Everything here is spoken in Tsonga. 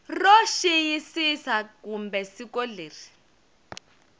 ro xiyisisa kumbe siku leri